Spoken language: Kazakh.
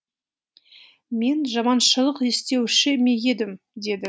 мен жаманшылық істеуші ме едім деді